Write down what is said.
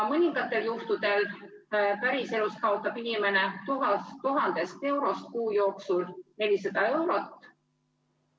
Mõningatel juhtudel päriselus kaotab inimene 1000 eurost kuu jooksul 400 eurot.